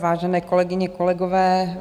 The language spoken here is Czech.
Vážené kolegyně, kolegové.